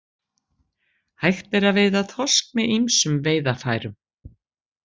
Hægt er að veiða þorsk með ýmsum veiðarfærum.